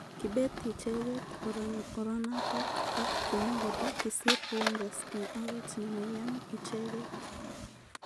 Kibet icheket oranatak ak kimwa kole kisir Rangers eng oret nemaiyan. icheket.